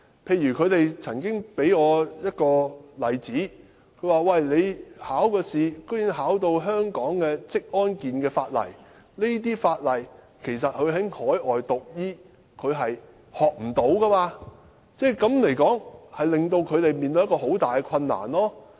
他們曾經給我一個例子，就是考試竟然要考香港的職安健法例，但他們在海外讀醫並不會讀到這些法例，這實在令他們面對很大的困難。